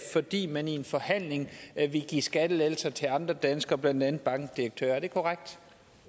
fordi man i en forhandling ville give skattelettelser til andre danskere blandt andet bankdirektører er det korrekt